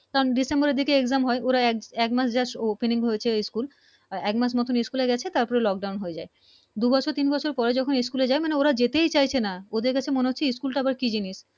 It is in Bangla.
তাম ডিসেম্বর এর দিকে Exam হয় একমাস Just Opening হয়েছে School একমাস মত School এ গেছে তার পর Lock Down হয়ে যায় দু বছর তিন বছর পরে যখন School এ যায় ওরা যেতেই চাইছে না ওদের কাছে মনে হচ্ছে School টা আবার কি জিনিস